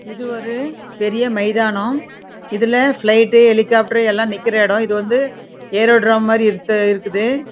இது ஒரு பெரிய மைதானம் இதுலே ஒரு பிளிக்ட் உஹ் எலிகாப்டரார் எலாம் நின்னுகிற இடம் இது எ ரா விட்ர மாரி இருக்குது இடம்